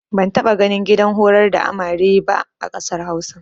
Ban taɓa ganin gidan horar da amare ba a ƙasar Hausa.